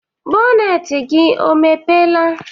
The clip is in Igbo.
boneti gị ọ mepela?